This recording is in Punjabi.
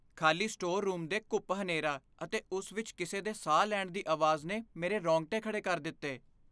ਖ਼ਾਲੀ ਸਟੋਰ ਰੂਮ ਦੇ ਘੂੱਪ ਹਨੇਰਾ ਅਤੇ ਉਸ ਵਿੱਚ ਕਿਸੇ ਦੇ ਸਾਹ ਲੈਣ ਦੀ ਆਵਾਜ਼ ਨੇ ਮੇਰੇ ਰੋਂਗਟੇ ਖੜ੍ਹੇ ਕਰ ਦਿੱਤੇ।